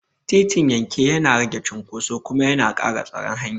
Titin yanke yana rage cunkoso kuma yana ƙara tsaron hanya.